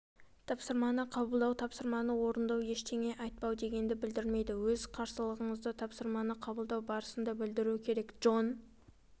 тапсырманы қабылдау тапсырманы орындау ештеңе айтпау дегенді білдірмейді өз қарсылығыңызды тапсырманы қабылдау барысында білдіру керек джон